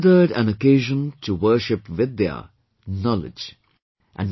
It is considered an occasion to worship Vidya, knowledge